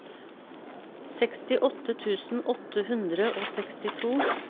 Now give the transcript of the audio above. sekstiåtte tusen åtte hundre og sekstito